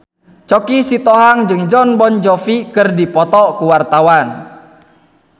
Choky Sitohang jeung Jon Bon Jovi keur dipoto ku wartawan